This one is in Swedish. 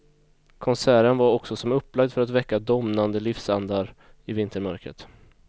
Konserten var också som upplagd för att väcka domnande livsandar i vintermörkret.